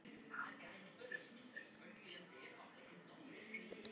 María renndi upp að húsinu.